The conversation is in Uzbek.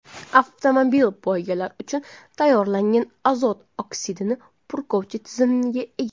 Avtomobil poygalar uchun tayyorlangan, azot oksidini purkovchi tizimga ega.